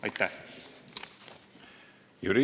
Aitäh!